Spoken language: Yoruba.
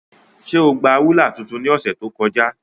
Njẹ o gba rulạ tuntun ni ọsẹ to kọja?